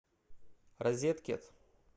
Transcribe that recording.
розеткед